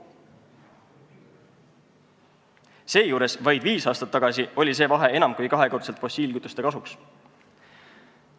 Seejuures oli vaid viis aastat tagasi see vahe enam kui kahekordselt fossiilkütuste kasuks.